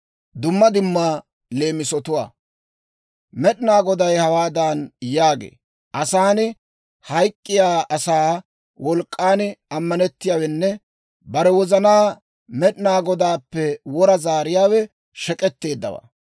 Med'inaa Goday hawaadan yaagee; «Asan, hayk'k'iyaa asaa wolk'k'an ammanettiyaawenne bare wozana Med'inaa Godaappe wora zaariyaawe shek'k'etteeddawaa.